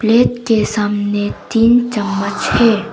Plate के सामने तीन चम्मच है।